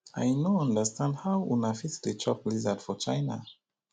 i no understand how una fit dey chop lizard for china